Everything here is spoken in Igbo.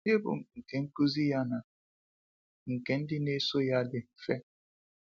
Ibu nke nkuzi ya na nke ndị na eso ya dị mfe.